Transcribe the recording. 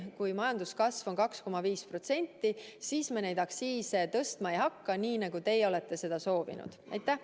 Kui majanduskasv on 2,5%, siis me neid aktsiise tõstma ei hakka, nii nagu teie seda soovisite.